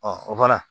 o fana